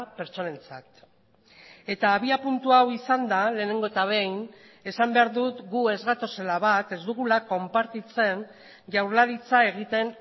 pertsonentzat eta abiapuntua hau izanda lehenengo eta behin esan behar dut gu ez gatozela bat ez dugula konpartitzen jaurlaritza egiten